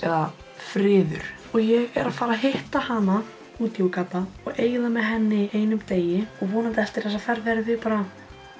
eða friður og ég er að fara hitta hana úti í Úganda og eyða með henni einum degi vonandi eftir þessa ferð verðum við bara